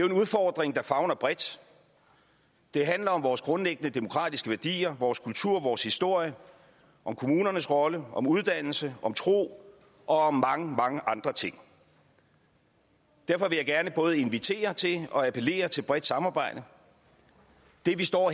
en udfordring der favner bredt det handler om vores grundlæggende demokratiske værdier vores kultur vores historie om kommunernes rolle om uddannelse om tro og om mange mange andre ting derfor vil jeg gerne både invitere til og appellere til bredt samarbejde det vi står